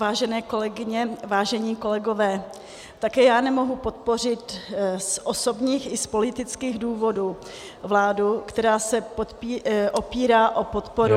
Vážené kolegyně, vážení kolegové, také já nemohu podpořit z osobních i z politických důvodů vládu, která se opírá o podporu -